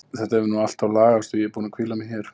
Þetta hefur nú allt lagast og ég er búin að hvíla mig hér.